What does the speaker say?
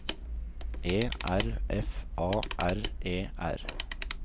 E R F A R E R